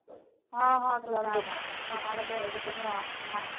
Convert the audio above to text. ହଁ ହଁ ତୁ ଯା ଯା ସାଡେ ବେସ୍ତ ଥିବୁ ରଖ ଯା।